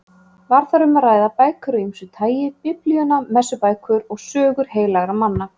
Var þar um að ræða bækur af ýmsu tagi: Biblíuna, messubækur og sögur heilagra manna.